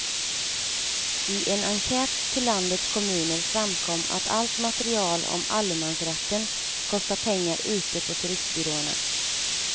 I en enkät till landets kommuner framkom att allt material om allemansrätten kostar pengar ute på turistbyråerna.